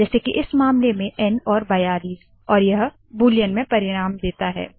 जैसे की इस मामले में एन और 42 और यह बूलीयन में परिणाम देता है